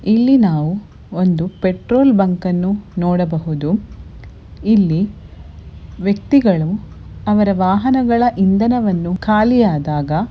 ಇಲ್ಲಿ ನಾವು ಒಂದು ಪೆಟ್ರೋಲ್ ಬಂಕನ್ನು ನೋಡಬಹುದು. ಇಲ್ಲಿ ವ್ಯಕ್ತಿಗಳು ಅವರ ವಾಹನಗಳ ಇಂಧನವನ್ನು ಖಾಲಿಯಾದಾಗ--